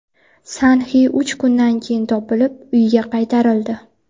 San-Xi uch kundan keyin topilib, uyga qaytarildi.